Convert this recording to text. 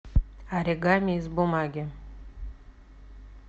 оригами из бумаги